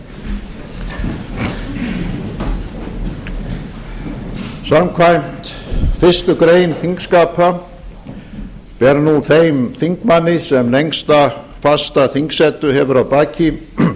ættjarðarinnar samkvæmt fyrstu grein þingskapa ber nú þeim þingmanni sem lengsta fasta þingsetu hefur að baki